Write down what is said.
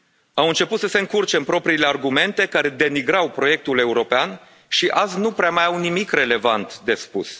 Au început să se încurce în propriile argumente care denigrau proiectul european și azi nu prea mai au nimic relevant de spus.